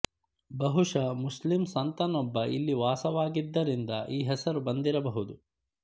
ಬಹುಶ ಮುಸ್ಲಿಂ ಸಂತನೊಬ್ಬ ಇಲ್ಲಿ ವಾಸವಾಗಿದ್ದರಿಂದ ಈ ಹೆಸರು ಬಂದಿರಬಹುದು